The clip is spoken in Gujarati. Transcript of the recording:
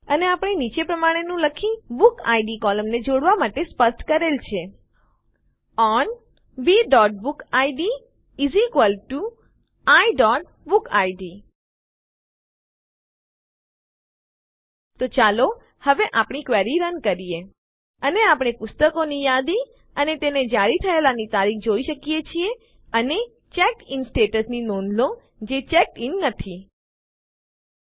અને આપણે નીચે પ્રમાણે નું લખી બુકિડ કોલમને જોડવાં માટે સ્પષ્ટ કરેલ છે ઓન bબુકિડ iબુકિડ તો ચાલો હવે આપણી ક્વેરીને રન કરીએ અને આપણે પુસ્તકોની યાદી અને તે જારી થયેલાંની તારીખ જોઈએ છીએ અને ચેકડિન સ્ટેટ્સ ની નોંધ લો જે ચેક્ડ ઇન પસંદ થયેલ નથી